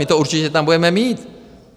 My to určitě tam budeme mít.